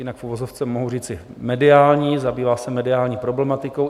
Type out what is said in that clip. Jinak v uvozovce mohu říci mediální, zabývá se mediální problematikou.